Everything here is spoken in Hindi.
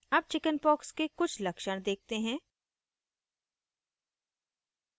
अब chickenpox के कुछ लक्षण देखते हैं